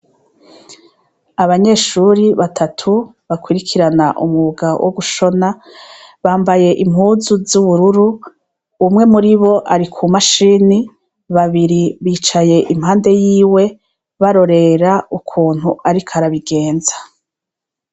Abanyeshure batatu bakurikirana umwuga wo gushona bambaye impuzu z'ubururu, umwe muribo ari ku mashini babiri bicaye impande yiwe barorera ukuntu ariko arabigenza.